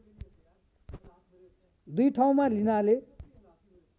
दुई ठाउँमा लिनाले